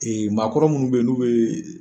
maakɔrɔ minnu bɛ yen n'u bɛ.